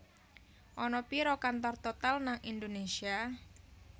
Ana piro kantor Total nang Indonesia?